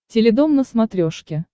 теледом на смотрешке